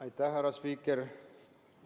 Aitäh, härra spiiker!